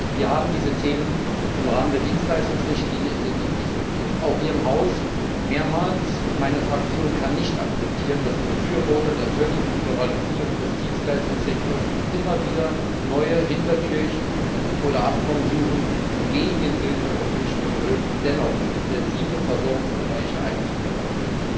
Wir haben diese Themen im Rahmen der Dienstleistungsrichtlinie intensiv diskutiert, auch hier im Haus mehrmals, und meine Fraktion kann nicht akzeptieren, dass Befürworter der völligen Liberalisierung des Dienstleistungssektors immer wieder neue Hintertürchen oder Abkommen suchen, um sich gegen den Willen der europäischen Bevölkerung dennoch sensible Versorgungsbereiche einzuverleiben!